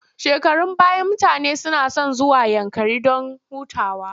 Shekarun baya mutane suna son zuwa Yankari don hutawa.